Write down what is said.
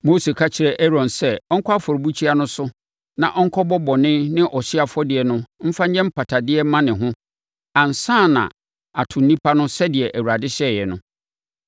Mose ka kyerɛɛ Aaron sɛ ɔnkɔ afɔrebukyia no so na ɔnkɔbɔ bɔne ne ɔhyeɛ afɔdeɛ no mfa nyɛ mpatadeɛ mma ne ho ansa na ato nnipa no sɛdeɛ Awurade hyɛeɛ no.